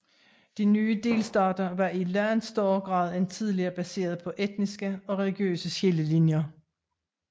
De nye delstater var i langt større grad end tidligere baseret på etniske og religiøse skillelinjer